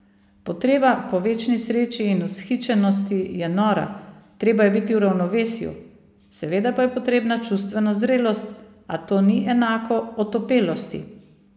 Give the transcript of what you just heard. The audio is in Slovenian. Potreba po večni sreči in vzhičenosti je nora, treba je biti v ravnovesju, seveda pa je potrebna čustvena zrelost, a to ni enako otopelosti!